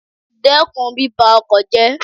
Dẹ́kun bíba oko jẹ́.